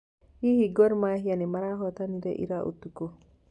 hihi gor mahia nĩ marahotanire ira ũtukũ